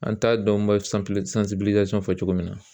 An t'a dɔn n bɛ fɔ cogo min na